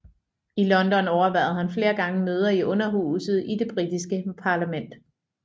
I London overværede han flere gange møder i Underhuset i Det britiske parlament